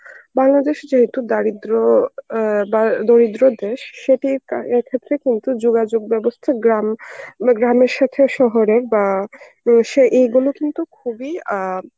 বাংলাদেশে যেহেতু দারিদ্র্য অ্যাঁ বা দরিদ্র দেশ সেটি ক্ষেত্রে কিন্তু যোগাযোগ ব্যবস্থা গ্রাম, গ্রামের সাথে শহরের বা তো সে এগুলো কিন্তু খুবই অ্যাঁ